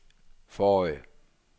forrige